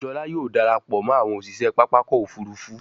Jola yóò darapọ̀ mọ àwọn òṣiṣẹ pápá ọkọ̀-òfurufú.